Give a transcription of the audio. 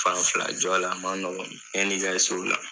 Fan fila jɔ la a ma nɔgɔn yan' i ka s'o la